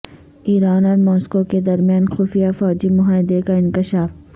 ایران اور ماسکو کے درمیان خفیہ فوجی معاہدے کا انکشاف